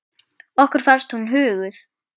Okkur fannst hún huguð.